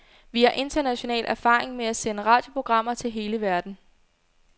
Vi har international erfaring med at sende radioprogrammer til hele verden.